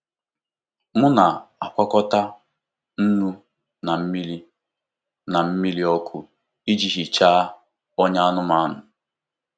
M na-agwakọta nnu na mmiri na mmiri ọkụ iji hichaa ọnyá anụmanụ.